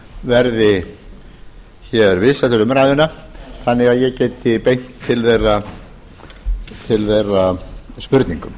verði hér viðstaddir umræðuna þannig að ég geti beint til þeirra spurningum